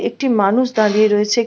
একটি মানুষ দাঁড়িয়ে রয়েছে।